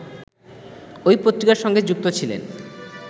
ঐ পত্রিকার সঙ্গে যুক্ত ছিলেন